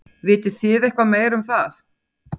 Vitið þið eitthvað meira um það?